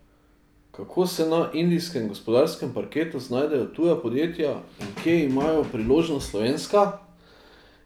Kako se na indijskem gospodarskem parketu znajdejo tuja podjetja in kje imajo priložnost slovenska?